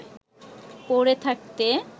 পড়ে থাকতে